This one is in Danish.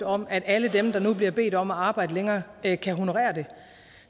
om at alle dem der nu bliver bedt om at arbejde længere kan kan honorere det